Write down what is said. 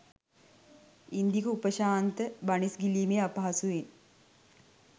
ඉන්දික උපශාන්ත බනිස්ගිලීමේ අපහසුවෙන්